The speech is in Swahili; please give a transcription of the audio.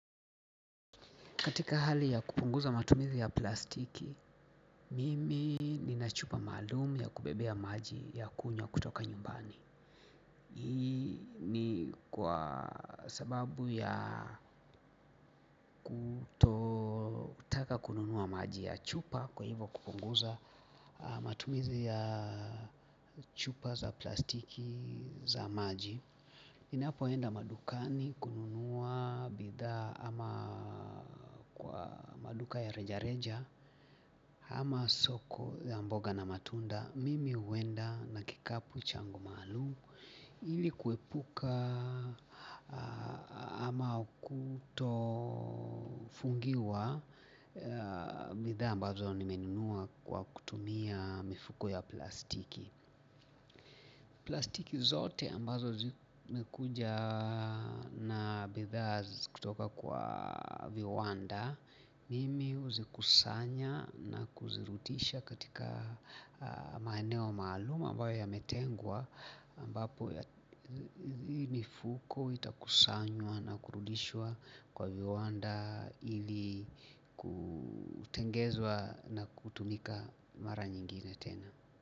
Katika hali ya kupunguza matumizi ya plastiki, mimi nina chupa maalum ya kubebea maji ya kunywa kutoka nyumbani. Hii ni kwa sababu ya kutotaka kununua maji ya chupa kwa hivo kupunguza matumizi ya chupa za plastiki za maji. Ninapoenda madukani kununua bidhaa ama maduka ya rejareja ama soko ya mboga na matunda mimi huenda na kikapu changu maalum ili kuepuka ama kutofungiwa bidhaa ambazo nimenunua kwa kutumia mifuko ya plastiki. Plastiki zote ambazo zimekuja na bidhaa kutoka kwa viwanda mimi huzikusanya na kuzirutisha katika maeneo maalum ambayo yametengwa ambapo ii nifuko itakusanywa na kurudishwa kwa viwanda ili kutengezwa na kutumika mara nyingine tena.